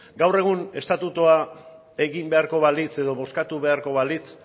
gaur egun estatutua egin beharko balitz edo bozkatu beharko balitz